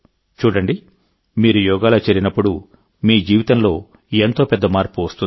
చూడండిమీరు యోగాలో చేరినప్పుడుమీ జీవితంలో ఎంతో పెద్ద మార్పు వస్తుంది